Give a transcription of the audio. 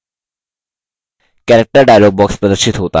character dialog box प्रदर्शित होता है